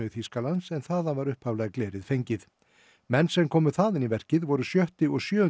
Þýskalands en þaðan var upphaflega glerið fengið menn sem komu þaðan í verkið voru sjöttu og sjöundu